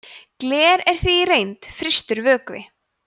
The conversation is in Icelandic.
gler er því í reynd frystur vökvi